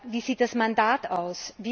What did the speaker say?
Wie sieht das Mandat aus?